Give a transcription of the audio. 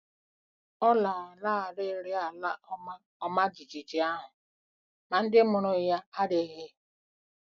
Ọ lanarịrị ala ọma ọma jijiji ahụ, ma ndị mụrụ ya adịghị.